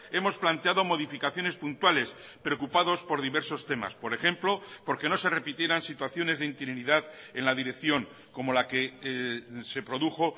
hemos planteado modificaciones puntuales preocupados por diversos temas por ejemplo porque no se repitieran situaciones de interinidad en la dirección como la que se produjo